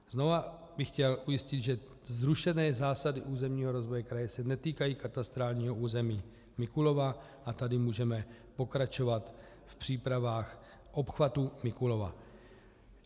Znovu bych chtěl ujistit, že zrušené zásady územního rozvoje kraje se netýkají katastrálního území Mikulova, a tedy můžeme pokračovat v přípravách obchvatu Mikulova.